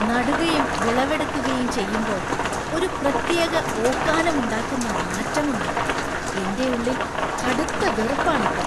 നടുകയും വിളവെടുക്കുകയും ചെയ്യുമ്പോ ഒരു പ്രത്യേക ഓക്കാനം ഉണ്ടാക്കുന്ന നാറ്റം ഉണ്ട്, എന്‍റെ ഉള്ളിൽ കടുത്ത വെറുപ്പാണ് അപ്പൊ.